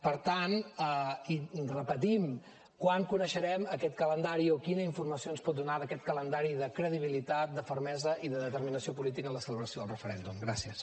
per tant ho repetim quan coneixerem aquest calendari o quina informació ens pot donar d’aquest calendari de credibilitat de fermesa i de determinació política en la celebració del referèndum gràcies